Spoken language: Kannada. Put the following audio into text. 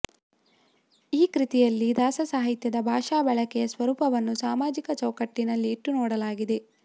ಈ ಕೃತಿಯಲ್ಲಿ ದಾಸಸಾಹಿತ್ಯದ ಭಾಷಾ ಬಳಕೆಯ ಸ್ವರೂಪವನ್ನು ಸಾಮಾಜಿಕ ಚೌಕಟ್ಟಿನಲ್ಲಿ ಇಟ್ಟುನೋಡಲಾಗಿದೆ